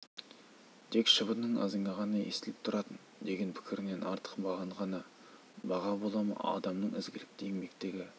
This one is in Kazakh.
тек шыбынның ызыңы ғана естіліп тұратын деген пікірінен артық маған баға бола ма адамның ізгілікті еңбегі